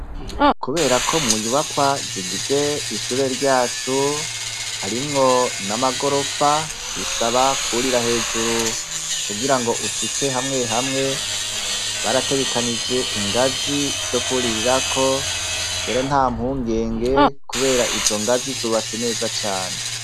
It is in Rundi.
Kubera ko mu nyubakwa zigize ishure ryacu harimwo n'amagorofa bisaba kurira hejuru kugira ngo ushike hamwe hamwe, barategekanije ingazi zo kwuririrako rero nta mpungenge kubera izo ngazi zubatse neza cane.